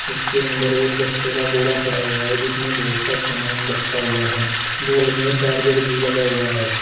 इसके अंदर एक गट्टे का बोरा पडा़ हुआ है जिसमें बहुत सा सामान रखा हुआ है बोर्ड में चार्जर भी लगा हुआ है।